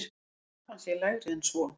Krafan sé lægri en svo.